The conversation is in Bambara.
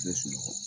Bɛɛ sunɔgɔ